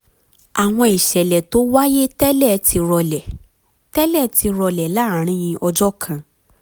àwọn ìṣẹ̀lẹ̀ tó wáyé tẹ́lẹ̀ ti rọlẹ̀ tẹ́lẹ̀ ti rọlẹ̀ láàárín ọjọ́ kan